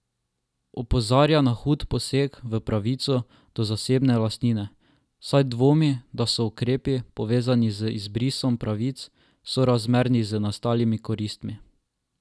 Opozarja na hud poseg v pravico do zasebne lastnine, saj dvomi, da so ukrepi, povezani z izbrisom pravic, sorazmerni z nastalimi koristmi.